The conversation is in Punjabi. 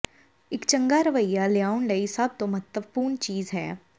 ਇੱਕ ਚੰਗਾ ਰਵੱਈਆ ਲਿਆਉਣ ਲਈ ਸਭ ਤੋਂ ਮਹੱਤਵਪੂਰਣ ਚੀਜ਼ ਹੈ